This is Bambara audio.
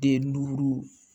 Den duuru